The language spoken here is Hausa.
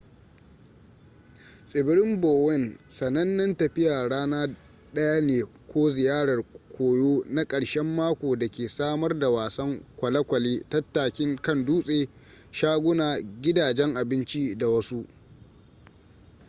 tsibirin bowen sanannen tafiya rana daya ne ko ziyarar koyo na karshen mako da ke samar da wasan kwalekwale tattakin kan dutse shaguna gidajen abinci da wasu